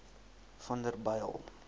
vanderbijl